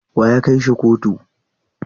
Wa ya kai shi kotu?